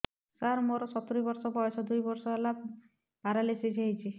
ସାର ମୋର ସତୂରୀ ବର୍ଷ ବୟସ ଦୁଇ ବର୍ଷ ହେଲା ପେରାଲିଶିଶ ହେଇଚି